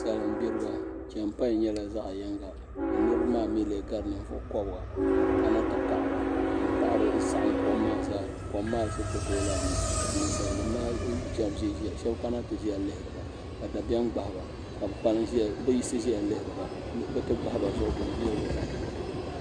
Salin gbiriba chɛinpain nyɛla zaɣ yinga ka niraba maa mii lee gari ninvuɣu kobga ka bi kana ti paɣara n saɣam kom maa zaa kom maa ku tooi lahi nyu ka ninsal nim maa shab kana ti ʒinʒiya ka shab kana ti ʒiya lihiriba ka dabiɛm gbahaba ka bi yiɣisi ʒɛya lihiriba bi ti gbahaba zuɣu bee nira bi baŋ